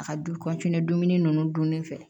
A ka du dumuni nunnu dunni fɛ